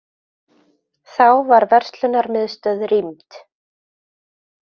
Þá var verslunarmiðstöð rýmd